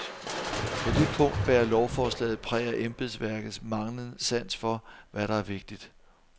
På det punkt bærer lovforslaget præg af embedsværkets manglende sans for, hvad der er vigtigt.